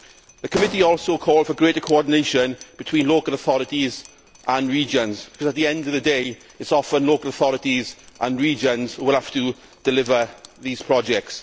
The committee also called for greater coordination between local authorities and regions because, at the end of the day, it is often local authorities and regions that have to deliver these projects.